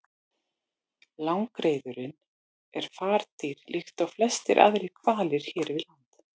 Langreyðurin er fardýr líkt og flestir aðrir hvalir hér við land.